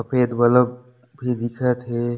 सफेद बल्ब भी दिखत हे।